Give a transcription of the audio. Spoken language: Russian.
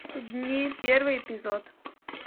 дни первый эпизод